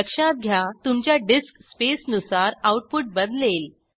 लक्षात घ्या तुमच्या डिस्कस्पेसनुसार आऊटपुट बदलेल